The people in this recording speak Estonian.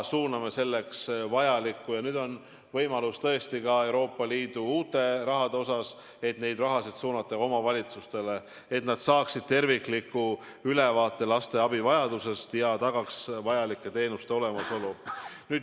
Nüüd on selleks võimalik kasutada ka Euroopa Liidu uut raha – see raha tuleb suunata omavalitsustele, et nad saaksid tervikliku ülevaate laste abivajadusest ja tagaksid vajalike teenuste olemasolu.